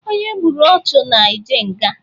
Onye gburu ọchụ na-eje nga.